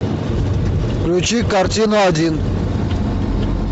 включи картину один